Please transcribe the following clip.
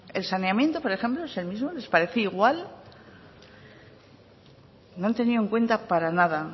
el saneamiento por ejemplo es el mismo les parece igual no han tenido en cuenta para nada